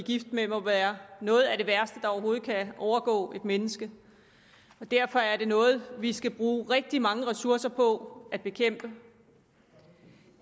gift med må være noget af værste der overhovedet kan overgå et menneske derfor er det noget vi skal bruge rigtig mange ressourcer på at bekæmpe